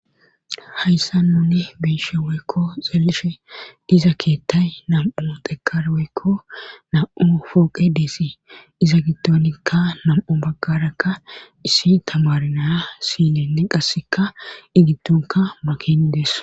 Hayssa nuni biishe woykko xeelishe iza keettay nam7u dekar woykko nam7u fooqe deesi iza gittonikka nam7u baggarakka issi tamari naya sinenne qasseka i gittonka makinidees